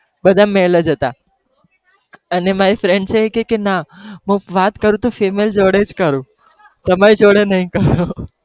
બધા male જ હતા, અને મારી friend છે કહે કે ના હું વાત કરું તો કે female જોડેજ કરું, તમારી જોડે નહિ કરું.